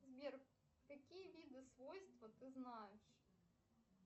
сбер какие виды свойства ты знаешь